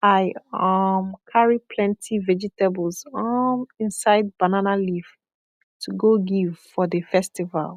i um carry plenty vegetables um inside banana leaf to go give for de festival